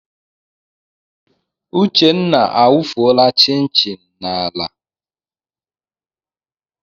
Uchenna awufuola chin chin m n'ala.